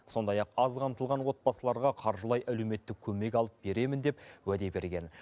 сондай ақ аз қамтылған отбасыларға қаржылай әлеуметтік көмек алып беремін деп уәде берген